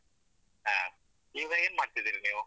ಹ ಈವಾಗ ಎನ್ಮಾಡ್ತಿದ್ದೀರಿ ನೀವು?